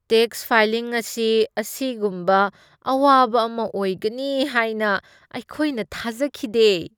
Tax filing ꯑꯁꯤ ꯑꯁꯤꯒꯨꯝꯕ ꯑꯋꯥꯕ ꯑꯃ ꯑꯣꯏꯒꯅꯤ ꯍꯥꯏꯅ ꯑꯩꯈꯣꯏꯅ ꯊꯥꯖꯈꯤꯗꯦ!